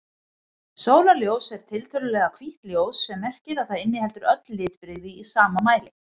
Sólarljós er tiltölulega hvítt ljós sem merkir að það inniheldur öll litbrigði í sama mæli.